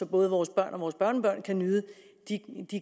både vores børn og vores børnebørn kan nyde de